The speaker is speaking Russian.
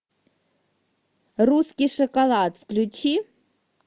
русский шоколад включи